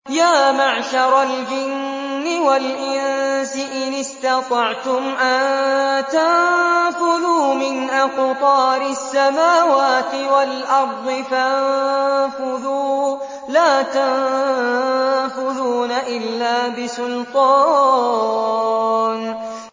يَا مَعْشَرَ الْجِنِّ وَالْإِنسِ إِنِ اسْتَطَعْتُمْ أَن تَنفُذُوا مِنْ أَقْطَارِ السَّمَاوَاتِ وَالْأَرْضِ فَانفُذُوا ۚ لَا تَنفُذُونَ إِلَّا بِسُلْطَانٍ